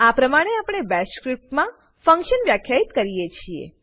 આ પ્રમાણે આપણે બેશ સ્ક્રીપ્ટમાં ફંક્શન વ્યાખ્યિત કરીએ છીએ